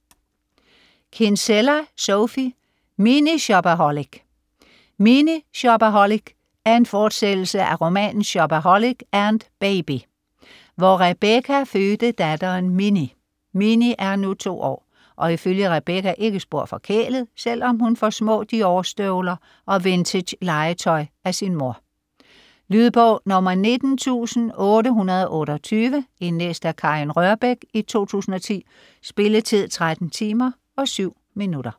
Kinsella, Sophie: Mini shopaholic Mini shopaholic er en fortsættelse af romanen Shopaholic & Baby, hvor Rebecca fødte datteren Minnie. Minnie er nu to år, og ifølge Rebecca ikke spor forkælet, selvom hun får små Dior-støvler og vintagelegetøj af sin mor. Lydbog 19828 Indlæst af Karin Rørbech, 2010. Spilletid: 13 timer, 7 minutter.